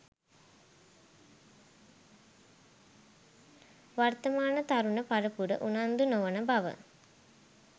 වර්තමාන තරුණ පරපුර උනන්දු නොවන බව